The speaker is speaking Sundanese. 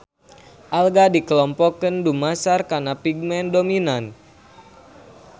Alga dikelompokeun dumasar kana pigmen dominan